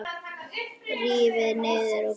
Rífið niður og geymið.